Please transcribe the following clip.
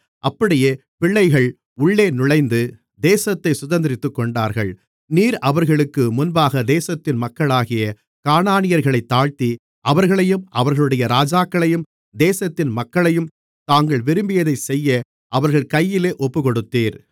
அப்படியே பிள்ளைகள் உள்ளே நுழைந்து தேசத்தைச் சுதந்தரித்துக் கொண்டார்கள் நீர் அவர்களுக்கு முன்பாக தேசத்தின் மக்களாகிய கானானியர்களைத் தாழ்த்தி அவர்களையும் அவர்களுடைய ராஜாக்களையும் தேசத்தின் மக்களையும் தாங்கள் விரும்பியதை செய்ய அவர்கள் கையிலே ஒப்புக்கொடுத்தீர்